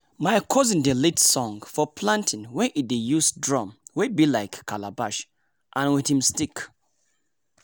my cousin dey lead song for planting wen e dey use drum wey be like calabash and with him stick.